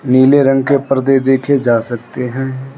नीले रंग के पर्दे देखे जा सकते हैं।